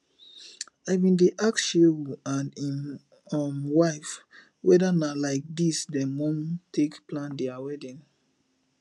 i bin dey ask shehu and im um wife whether na like dis dem wan take plan dia wedding